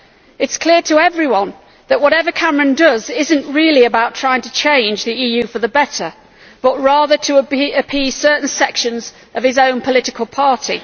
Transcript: It is clear to everyone that whatever Cameron does is not really about trying to change the EU for the better but rather to appease certain sections of his own political party.